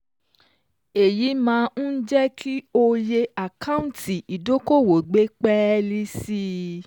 Èyí máa ń jẹ́ kí oye àkáǹtì ídókòwó gbé pẹ́ẹ́lí sí i.